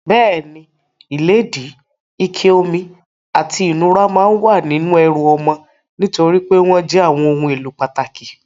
Bẹ́ẹ̀ni, ìlédìí, ike omi, àti ìnura máa wà nínú ẹrù ọmọ nitori pe wọn jẹ́ àwọn ohun èlò pàtàkì.